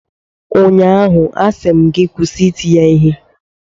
ụnyaahụ, a sị m gị kwụsị iti ya Ihe!